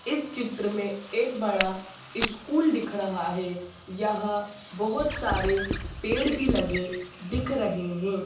इस चित्र मे एक बड़ा इस्कूल दिख रहा है। यहां बहोत सारे पेड़ भी लगे दिख रहे है।